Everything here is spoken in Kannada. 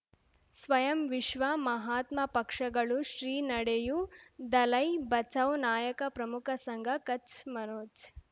ಸ್ವಯಂ ವಿಶ್ವ ಮಹಾತ್ಮ ಪಕ್ಷಗಳು ಶ್ರೀ ನಡೆಯೂ ದಲೈ ಬಚೌ ನಾಯಕ ಪ್ರಮುಖ ಸಂಘ ಕಚ್ ಮನೋಜ್